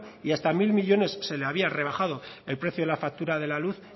y hasta mil millónes se le había rebajado el precio de la factura de la luz